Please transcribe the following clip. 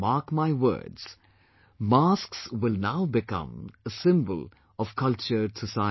Mark my words, masks will now become a symbol of cultured society